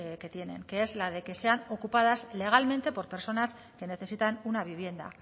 que tienen que es la de que sean ocupadas legalmente por personas que necesitan una vivienda